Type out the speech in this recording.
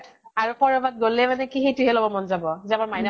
আৰু কৰবাত গʼলে মানে কি সেইটোহে লʼব মন যাব যে আমাৰ মাইনাক